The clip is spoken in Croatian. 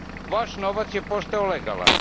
Vaš novac je postao legalan.